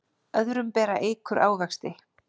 Öðrum bera eikur ávexti.